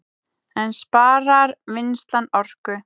En sparar vinnslan orku